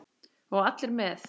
Og allir með.